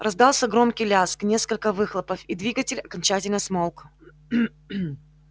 раздался громкий лязг несколько выхлопов и двигатель окончательно смолк